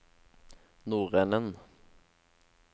nordenden